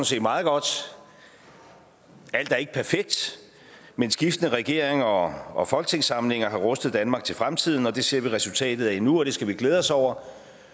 set meget godt alt er ikke perfekt men skiftende regeringer og og folketingssamlinger har rustet danmark til fremtiden og det ser vi resultatet af nu og det skal vi glæde os over